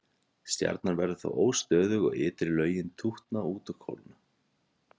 Stjarnan verður þá óstöðug og ytri lögin tútna út og kólna.